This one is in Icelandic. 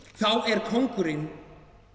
þá er kóngurinn